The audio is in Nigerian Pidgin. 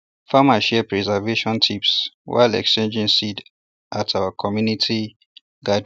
farmers share preservation tips while exchanging seeds at our monthly community gathering